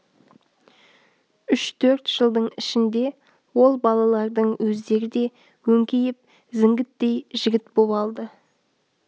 үш-төрт жылдың ішінде ол балалардың өздері де өңкиіп зіңгіттей жігіт боп алды